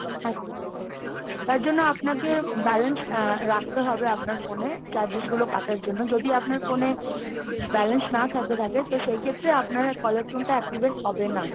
আচ্ছা, তার জন্য আপনাকে balance আ রাখতে হবে আপনার phone এ। charges গুলো কাটার জন্য। যদি আপনার phone এ balance না থাকে তো সেই ক্ষেত্রে আপনারা caller tune টা activate হবে না।